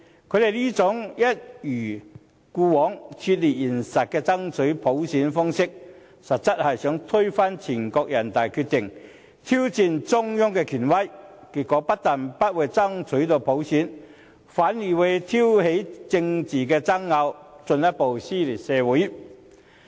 他們這種一貫脫離現實的爭取普選的要求，其實是想推翻人大常委會的決定，挑戰中央的權威，結果不但不能成功爭取到普選，反而挑起政治爭拗，進一步撕裂社會。